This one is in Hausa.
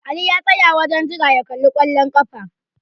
Ali ya tsaya a wajen jira ya kalli kwallon ƙafa.